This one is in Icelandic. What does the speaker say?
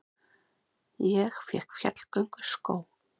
Ég fékk fjallgönguskó.